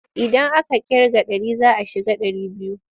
Idan aka ƙirga ɗari za a shiga ɗari biyu.